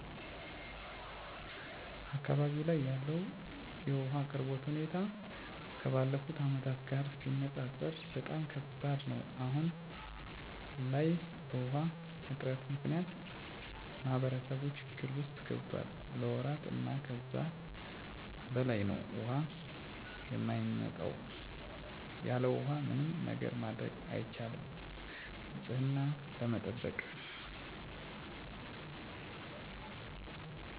አካባቢው ላይ ያለው የውሃ አቅርቦት ሁኔታ ከባለፉት አመታት ጋር ሲነፃፀር በጣም ከባድ ነው። አሁን ላይ በውሃ እጥረት ምክንያት ማህበረሰቡ ችግር ውስጥ ገብቷል ለወራት እና ከዛ በላይ ነው ውሃ የማይመጣው። ያለውሃ ምንም ነገር ማድረግ አይቻልም ንፅህናን ከመጠበቅ ጀምሮ ማለት ነው። ስለዚህ የውሃ ችግሩ በጣም አሳሳቢ ነው። ምንም መፍትሄ እስካሁን አላየሁም አዲስ የሚሰሩ የውሃ ፕሮጀክቶች እራሱ ብዙ አመታትን እየወሰዱ ነው።